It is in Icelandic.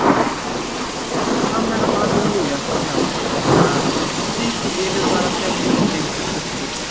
Og amen og hallelúja já, botnar afi, strýkur yfirvaraskeggið og gengur burtu.